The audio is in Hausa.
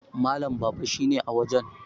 Malam Baba shi ne a wajen